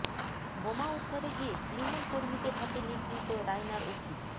বোমা উদ্ধারে গিয়ে তৃণমূল কর্মীদের হাতে নিগৃহীত রায়নার ওসি